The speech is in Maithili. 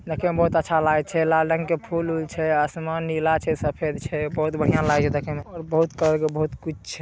देखे में बहुत अच्छा लगय छै लाल रंग के फूल उल छै आसमान नीला छै सफ़ेद छै बहुत बढ़िया लागय छै देखे मे और बहुत कलर के बहुत कुछ छै।